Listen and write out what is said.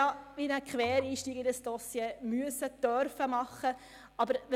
Ich habe mich als Quereinsteigerin in dieses Dossier einarbeiten dürfen oder müssen.